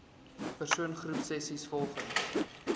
persoon groepsessies volgens